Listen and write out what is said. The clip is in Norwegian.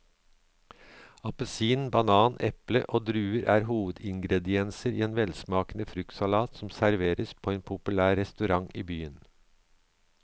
Appelsin, banan, eple og druer er hovedingredienser i en velsmakende fruktsalat som serveres på en populær restaurant i byen.